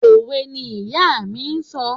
Òwe ni ìyá mi ń sọ.